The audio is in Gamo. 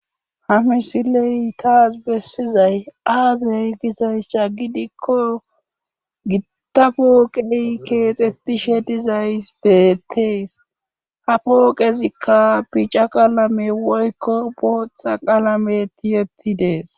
Ha misiley taas bessizay aazey gisayssa gidikko gitta pooqey keexettishe dizays beettees ha pooqezikka bica qalame woykko booththa qalame tiyettidees.